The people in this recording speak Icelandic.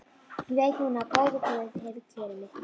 Ég veit núna að góður guð hefur kjörið mig.